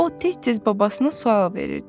o tez-tez babasına sual verirdi.